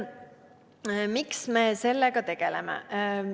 Miks me sellega tegeleme?